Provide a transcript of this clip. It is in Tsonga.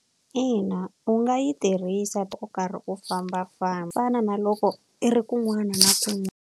Ina u nga yi tirhisa u karhi u fambafamba, ku fana na loko i ri kun'wana na kun'wana.